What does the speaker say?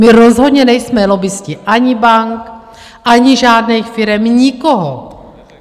My rozhodně nejsme lobbisté, ani bank, ani žádných firem, nikoho.